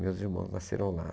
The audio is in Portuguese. Meus irmãos nasceram lá.